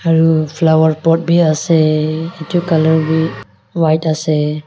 ah flower pot bi ase itu colour wii buka ase.